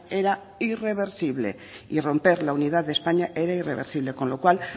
era irreversible y romper la unidad de españa era irreversible con lo cual